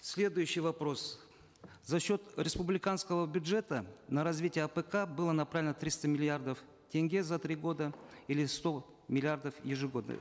следующий вопрос за счет республиканского бюджета на развитие апк было направлено триста миллиардов тенге за три года или сто миллиардов ежегодно